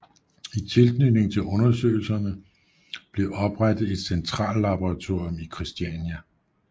I tilknytning til undersøgelserne blev oprettet et centrallaboratorium i Kristiania